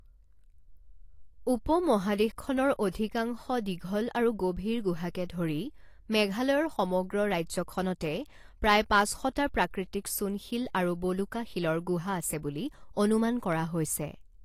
উপমহাদেশখনৰ অধিকাংশ দীঘল আৰু গভীৰ গুহাকে ধৰি মেঘালয়ৰ সমগ্ৰ ৰাজ্যখনতে প্ৰায় পাঁচ শটা প্ৰাকৃতিক চূণশিল আৰু বলুকাশিলৰ গুহা আছে বুলি অনুমান কৰা হৈছে।